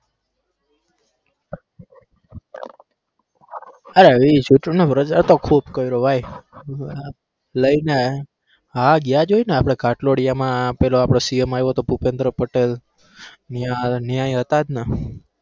અરે ઈ ચૂંટણીનો પ્રચાર તો ખુબ કર્યો ભાઈ હા ગયા જ હોયને આપણે ઘાટલોડિયામાં પેલો આપણો CM આયવો હતો ભૂપેન્દ્રપટેલ ઇયા ઇયાંય હતા જ ને.